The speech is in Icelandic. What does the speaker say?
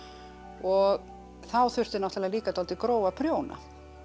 og þá þurfti náttúrulega líka dálítið grófa prjóna